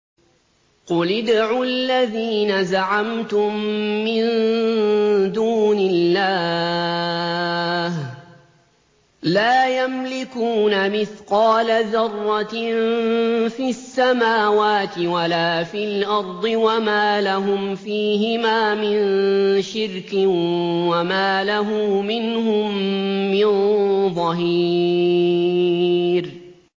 قُلِ ادْعُوا الَّذِينَ زَعَمْتُم مِّن دُونِ اللَّهِ ۖ لَا يَمْلِكُونَ مِثْقَالَ ذَرَّةٍ فِي السَّمَاوَاتِ وَلَا فِي الْأَرْضِ وَمَا لَهُمْ فِيهِمَا مِن شِرْكٍ وَمَا لَهُ مِنْهُم مِّن ظَهِيرٍ